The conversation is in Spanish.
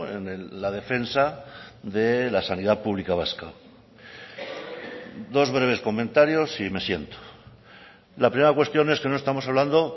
en la defensa de la sanidad pública vasca dos breves comentarios y me siento la primera cuestión es que no estamos hablando